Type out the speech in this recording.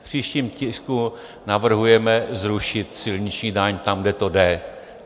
V příštím tisku navrhujeme zrušit silniční daň tam, kde to jde.